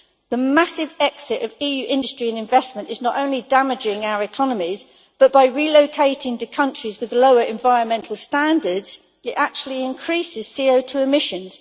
The massive exit of EU industry and investment is not only damaging our economies, but by its relocation to countries with lower environmental standards it actually increases CO2 emissions.